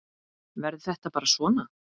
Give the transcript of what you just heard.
Verður þetta bara svona?